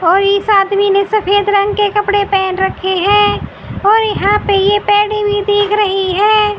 और इस आदमी ने सफेद रंग के कपड़े पहन रखे है और यहां पे ये पैडी भी दिख रही है।